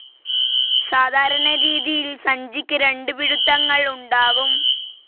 സാധാരണ രീതിയിൽ സഞ്ചിക്ക് രണ്ട് പിടുത്തങ്ങൾ ഉണ്ടാകും.